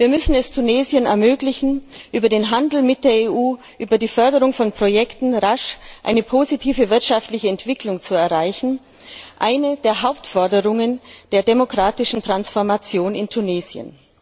Wir müssen es Tunesien ermöglichen, über den Handel mit der EU, über die Förderung von Projekten rasch eine positive wirtschaftliche Entwicklung zu erreichen eine der Hauptforderungen der demokratischen Transformation in Tunesien.